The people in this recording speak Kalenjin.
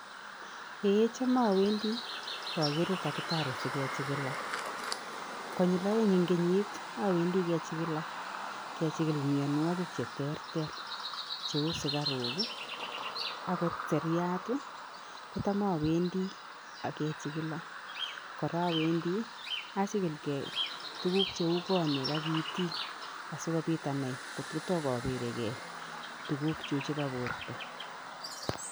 Kicham awendi bokere [dakitari sikechikila konyil oeng eng kenyit awendi kechikila. Kechikil mianwokik cheterter cheu sukaruk akot siryat kotam awendi kechikila. Kora awendi achikilkei tuguk cheu konyek ak itik asikobit anai tugukchu chepo borto.